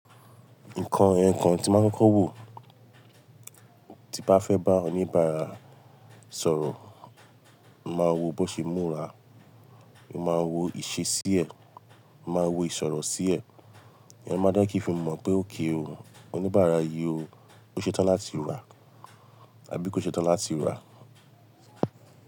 Nǹkan ẹ̀yokan tí máa ń kọ́ko wọ̀, tí bá fẹ́ bá oníbàárà sọ̀rọ̀, máa wo bó ṣe múra, máa wo ìṣe sí ẹ, máa wo ìsọ̀rọ̀ sí ẹ, ìyẹn máa jẹ n kí fi mọ̀ pé okay o, oníbàárà yìí ó, kó ṣe tán láti rà àbí kó ṣe tán láti rà.